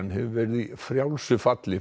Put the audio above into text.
hefur verið í frjálsu falli